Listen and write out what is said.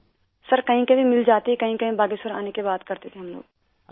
سر کہیں کہیں مل جاتی، کہیں کہیں باگیشور آنے کے بعد کرتے تھے، ہم لوگ